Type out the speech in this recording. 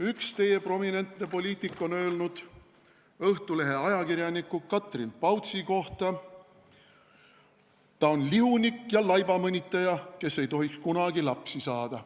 " Üks teie prominentne poliitik on öelnud Õhtulehe ajakirjaniku Katrin Pautsi kohta: "Ta on lihunik ja laibamõnitaja, kes ei tohiks kunagi lapsi saada.